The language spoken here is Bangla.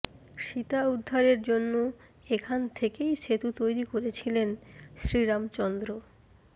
সীতা উদ্ধারের জন্য এখান থেকেই সেতু তৈরি করেছিলেন শ্রীরামচন্দ্র